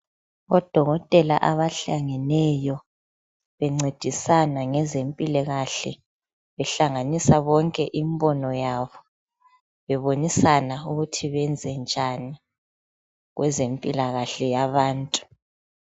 Odokotela abahlangeneyo bencedisana ngezempilakahle, behlanganisa bonke imbono yabo bebonisana ukuthi benze njani ngezempilakahle yabantu.